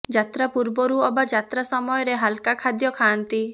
ଯାତ୍ରା ପୂର୍ବରୁ ଅବା ଯାତ୍ରା ସମୟରେ ହାଲ୍କା ଖାଦ୍ୟ ଖାଆନ୍ତି